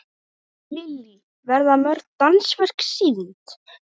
Lillý, verða mörg dansverk sýnd?